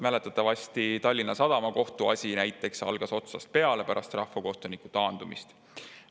Mäletatavasti Tallinna Sadama kohtuasi algas otsast peale pärast rahvakohtuniku taandumist.